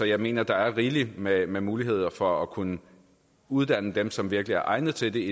jeg mener at der er rigeligt med med muligheder for at kunne uddanne dem som virkelig er egnet til det